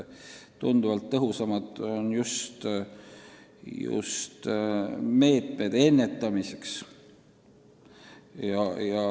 Tunduvalt tõhusamad on ennetusmeetmed.